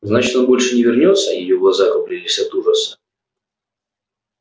значит он больше не вернётся её глаза округлились от ужаса